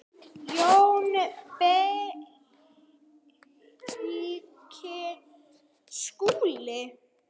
JÓN BEYKIR: Skúli?